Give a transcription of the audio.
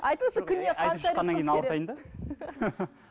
айтыңызшы күніне қанша